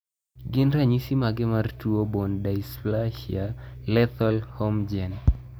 Gin ranyisi mage mar tuo Bone dysplasia lethal Holmgren ?